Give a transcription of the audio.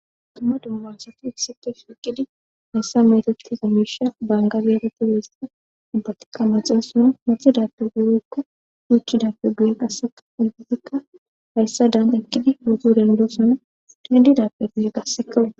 tuma dummansati issike shiiqidi hayssa metati zamisha bangabereti weeseta ubbatikka maxa suna maxida pe guyeykka yuuchidappe guye qasseka ulbatikka hayssa daanta ekkidi wogo dendo sona dendidappe guye gassekawud